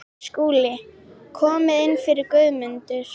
SKÚLI: Komið inn fyrir, Guðmundur.